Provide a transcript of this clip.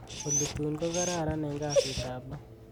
olly tun kokararan en kasit ab lo